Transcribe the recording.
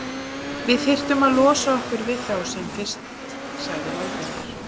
Við þyrftum að losa okkur við þá sem fyrst sagði Valdimar.